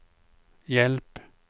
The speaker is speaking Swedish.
hjälp